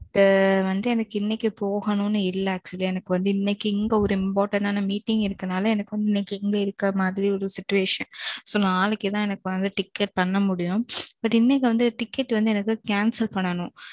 வந்து எனக்கு இன்னைக்கு போகணும்னு இல்ல. actually எனக்கு வந்து இன்னைக்கு இங்க ஒரு important ஆன meeting மீட்டிங் இருக்குறனால எனக்கு இன்னைக்கு இங்க இருக்குற மாறி ஒரு situation. so நாளைக்கு தான் எனக்கு வந்து ticket பண்ண முடியும். but இன்னைக்கு வந்து ticket வந்து எனக்கு cancel பண்ணனும்.